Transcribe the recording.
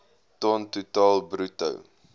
ton totaal bruto